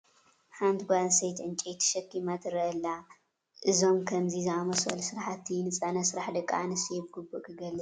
ሓንት ጓል ኣነስተይቲ ዕንጨይቲ ተሸኪማ ትርአ ኣላ፡፡ እዞም ከምዚ ዝኣምሰሉ ስራሕቲ ንፅዕነት ስራሕ ደቂ ኣነስትዮ ብግቡእ ክገልፅ ይኽእል ዶ ትብሉ?